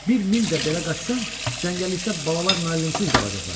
Bir mil də belə qaçsan, cəngəllikdə balalar müəllimsiz qalacaqlar.